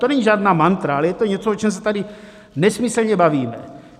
To není žádná mantra, ale je to něco, o čem se tady nesmyslně bavíme.